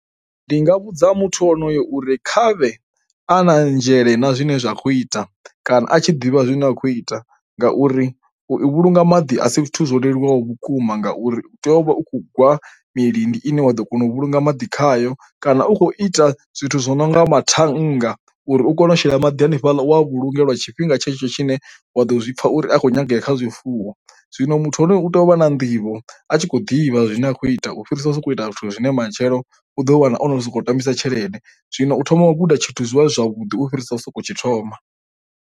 Ndi nga vhudza muthu onoyo uri khavhe a na nzhele na zwine zwa kho ita kana a tshi ḓivha zwine a khou ita, ngauri u vhulunga maḓi a si zwithu zwo leluwaho vhukuma ngauri u tea u vha u khou gwa milindi ine wa ḓo kona u vhulunga maḓi khayo kana u khou ita zwithu zwi no nga mathanga uri u kone u shela maḓi hanefhaḽa uwa vhulunge lwa tshifhinga tshetsho tshine wa ḓo zwipfa uri a khou nyangea kha zwifuwo. Zwino muthu u tea u vha na nḓivho a tshi khou ḓivha zwine a khou ita u fhirisa u sokou ita zwithu zwine matshelo u ḓo wana osoko tambisa tshelede. Zwino u thoma u guda tshithu zwivha zwi zwavhuḓi u fhirisa u sokou tshi thoma.